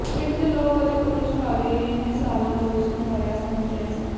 ਪਿੰਡ ਦੇ ਲੋਕ ਅਤੇ ਪੁਲਿਸ ਵਾਲੇ ਇਨ੍ਹੇ ਸਾਲਾਂ ਤੋਂ ਇਸਨੂੰ ਮਰਿਆ ਸਮਝ ਰਹੇ ਸਨ